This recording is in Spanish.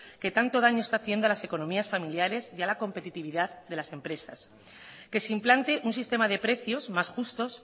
que tanto daño está haciendo en las economías familiares y a la competitividad de las empresas que se implante un sistema de precios más justos